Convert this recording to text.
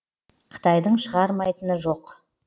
қытайдың шығармайтыны жоқ